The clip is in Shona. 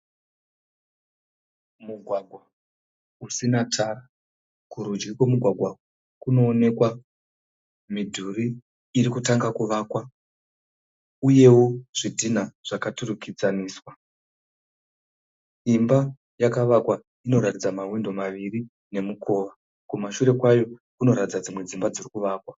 Mugwagwa usina tara. Kurudyi kwemugwagwa kunoonekwa midhuri iri kutanga kuvakwa uyewo zvidhinha zvakaturikidzaniswa. Imba yakavakwa inoratidza mahwindo maviri nemukova kumashure kwayo kunoratidza dzimwe dzimba dziri kuvakwa.